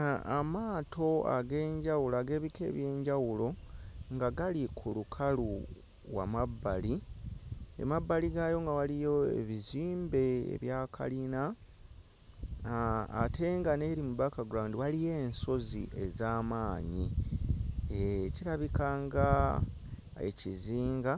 Aah amaato ag'enjawulo ag'ebika eby'enjawulo nga gali ku lukalu wamabbali emabbali gaayo nga waliyo ebizimbe ebya kalina aah ate nga n'eri mu background waliyo ensozi ez'amaanyi eeh kirabika nga ekizinga